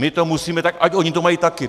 My to musíme, tak ať oni to mají taky!